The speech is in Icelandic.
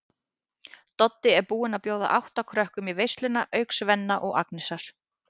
Doddi er búinn að bjóða átta krökkum í veisluna auk Svenna og Agnesar.